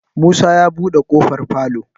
Musa ya buɗe kofar falo.